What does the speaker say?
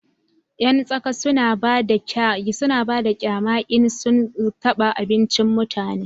yan tsaka suna bada kyama in sun taba abincin mutane